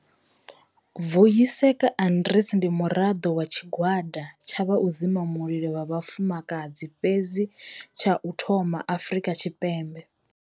Vuyiseka Arendse ndi muraḓo wa tshigwada tsha vha u dzima mulilo vha vhafumakadzi fhedzi tsha u thoma Afrika Tshipembe.